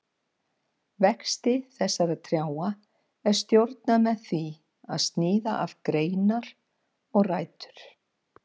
Vexti þessara trjáa er stjórnað með því að sníða af greinar og rætur.